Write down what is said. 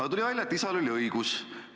Aga tuli välja, et isal oli õigus.